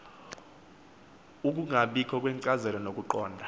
ukungabikho kwenkcazelo nokuqonda